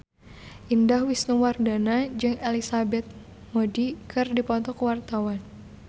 Indah Wisnuwardana jeung Elizabeth Moody keur dipoto ku wartawan